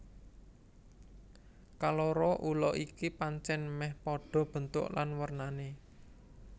Kaloro ula iki pancèn mèh padha bentuk lan wernané